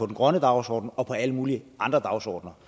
den grønne dagsorden og til alle mulige andre dagsordener